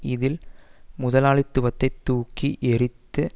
இதில் முதலாளித்துவத்தை தூக்கி எறத்து